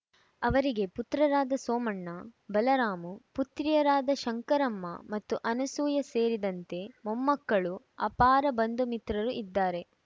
ಅವರಿಗೆ ಪುತ್ರರಾದ ಸೋಮಣ್ಣ ಬಲರಾಮು ಪುತ್ರಿಯರಾದ ಶಂಕರಮ್ಮ ಮತ್ತು ಅನಸೂಯ ಸೇರಿದಂತೆ ಮೊಮ್ಮಕ್ಕಳು ಆಪಾರ ಬಂಧು ಮಿತ್ರರು ಇದ್ದಾರೆ